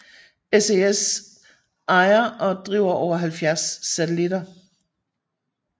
SES ejer og driver over 70 satellitter